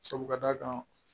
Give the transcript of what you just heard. Sabu ka d'a kan